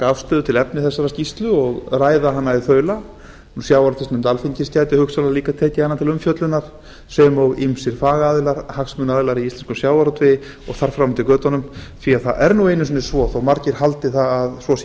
afstöðu til efnis skýrslunnar og ræða hana í þaula á alþingi sjávarútvegsnefnd alþingis gæti hugsanlega líka tekið hana til umfjöllunar sem og ýmsir fagaðilar hagsmunaaðilar í íslenskum sjávarútvegi og þar fram með götunum það er nú einu sinni svo þó að margir haldi að svo sé